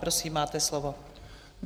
Prosím, máte slovo.